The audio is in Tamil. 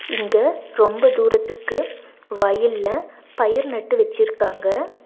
இங்க ரொம்ப தூரத்திற்கு வயல்ல பயிர் நட்டு வெச்சுருக்காங்க.